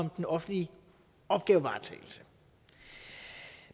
den offentlige opgavevaretagelse